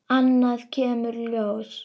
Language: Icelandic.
Annað kemur ljós